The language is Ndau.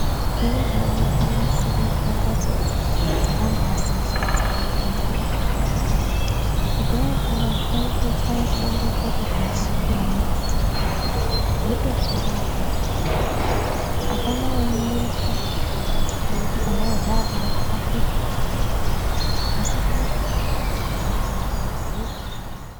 Zvinezvi unoo konasirirwa mbatso dzakambaaseja dzekufundira. Kudhayako vantu vaitochaya chibondokoto pashi pemimbiti, votofunda apapo. Hapana waimuruka eiti pandakagara pano pasvipa. Asi zvinezvi ah zviro zvambaati hwe.